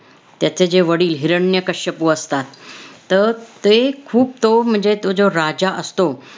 त्याचे जे वडील हिरण्यकश्यपू असतात. त~ ते खूप तो म्हणजे तो जो राजा असतो,